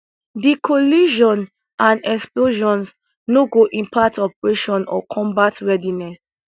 di collision and explosions no go impact operations or combat readiness